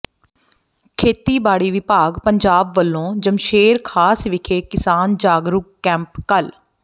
ਖੇਤੀਬਾੜੀ ਵਿਭਾਗ ਪੰਜਾਬ ਵੱਲੋਂ ਜਮਸ਼ੇਰ ਖਾਸ ਵਿਖੇ ਕਿਸਾਨ ਜਾਗਰੂਕ ਕੈਂਪ ਕੱਲ੍ਹ